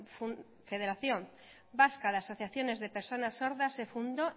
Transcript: federación vasca de asociaciones de personas sordas se fundó